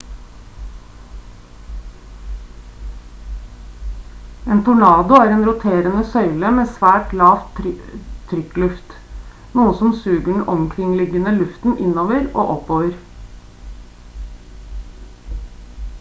en tornado er en roterende søyle med svært lav trykkluft noe som suger den omkringliggende luften innover og oppover